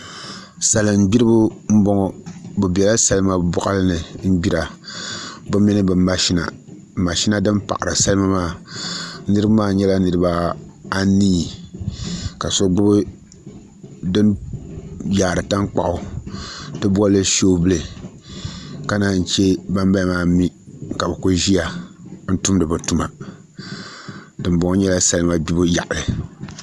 Salin gbiribi n boŋo bi biɛla salima boɣali ni n gbira bi mini bi mashina mashina din paɣari salima maa niraba maa nyɛla niraba anii ka so gbubi din yaari tankpaɣu ti bolili shoovul ka naa yi chɛ ban bala maa mii ka bi ku ʒiya n tumdi bi tuma dinboŋo nyɛla salima gbibu yaɣali